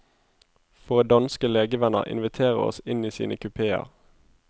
Våre danske legevenner inviterer oss inn i sine kupeer.